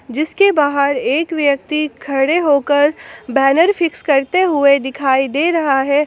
जिसके बाहर एक व्यक्ति खड़े होकर बैनर फिक्स करते हुए दिखाई दे रहा है।